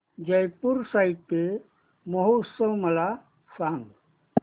जयपुर साहित्य महोत्सव मला सांग